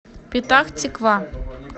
петах тиква